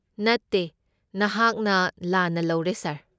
ꯅꯠꯇꯦ, ꯅꯍꯥꯛꯅ ꯂꯥꯟꯅ ꯂꯧꯔꯦ ꯁꯥꯔ꯫